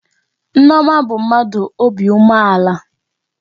Ee, Nneoma bụ mmadụ obi umeala